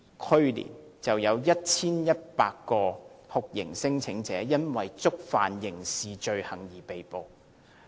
去年，有 1,100 名酷刑聲請者因為觸犯刑事罪行而被拘捕。